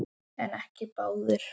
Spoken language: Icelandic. En ekki báðir.